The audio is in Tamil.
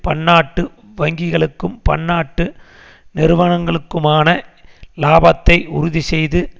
பன்னாட்டு வங்கிகளுக்கும் பன்னாட்டு நிறுவனங்களுக்குமான இலாபத்தை உறுதிசெய்து